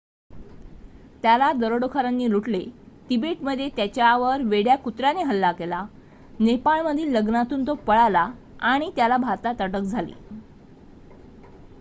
त्याला दरोडेखोरांनी लुटले तिबेटमध्ये त्याच्यावर वेड्या कुत्राने हल्ला केला नेपाळमधील लग्नातून तो पळाला आणि त्याला भारतात अटक झाली